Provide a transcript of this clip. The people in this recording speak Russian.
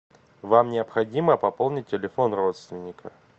вам необходимо пополнить телефон родственника